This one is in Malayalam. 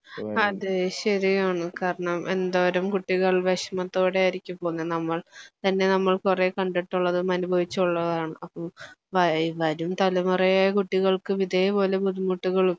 അതെ ശരിയാണ് കാരണം എന്തോരം കുട്ടികൾ വിഷമത്തോടെ ആയിരിക്കും പോന്നെ നമ്മൾ തന്നെ നമ്മൾ കുറേ കണ്ടിട്ടുള്ളതും അനുഭവിച്ചുള്ളതുമാണ് അപ്പോ വ വരും തലമുറയിലെ കുട്ടികൾക്കും ഇതേപോലെ ബുദ്ധിമുട്ടുകളും